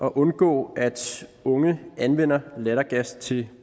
at undgå at unge anvender lattergas til